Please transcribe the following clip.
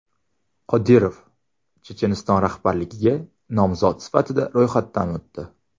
Qodirov Checheniston rahbarligiga nomzod sifatida ro‘yxatdan o‘tdi.